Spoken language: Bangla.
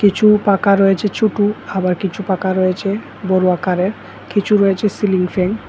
কিছু পাকা রয়েছে ছুটু আবার কিছু পাকা রয়েছে বড় আকারের কিছু রয়েছে সিলিং ফ্যান ।